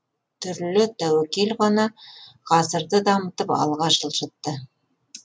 түрлі тәуекел ғана ғасырды дамытып алға жылжытты